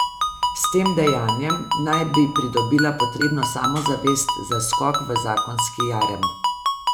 S tem dejanjem naj bi pridobila potrebno samozavest za skok v zakonski jarem.